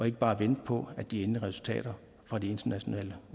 ikke bare venter på at de endelige resultater fra de internationale